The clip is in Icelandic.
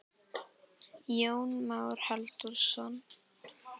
Jón Már Halldórsson.